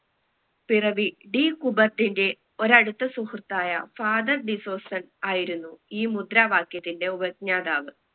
പിറവി ഡി കുബർട്ടിന്റെ ഒരടുത്ത സുഹൃത്തായ father ഡിസൂസൻ ആയിരുന്നു ഈ മുദ്രാവാക്യത്തിന്റെ ഉപജ്ഞാതാവ്